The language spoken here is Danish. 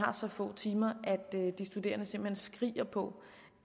så få timer at de studerende simpelt hen skriger på